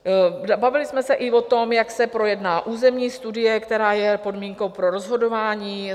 Bavili jsme se i o tom, jak se projedná územní studie, která je podmínkou pro rozhodování.